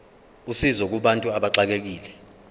usizo kubantu abaxekekile